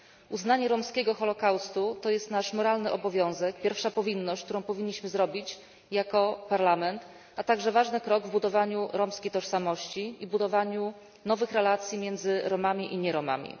Uznanie romskiego holokaustu to jest nasz moralny obowiązek, pierwsza powinność, którą powinniśmy zrobić jako Parlament, a także ważny krok w budowaniu romskiej tożsamości i w budowaniu nowych relacji między Romami i nie Romami.